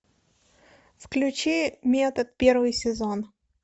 включи метод первый сезон